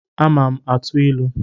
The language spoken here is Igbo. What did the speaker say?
Ama m atụ ilu